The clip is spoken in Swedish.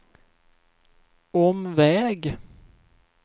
omväg